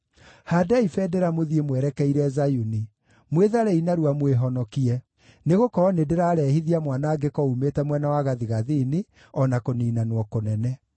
Haandai bendera mũthiĩ mwerekeire Zayuni! Mwĩtharei narua mwĩhonokie! Nĩgũkorwo nĩndĩrarehithia mwanangĩko uumĩte mwena wa gathigathini, o na kũniinanwo kũnene.”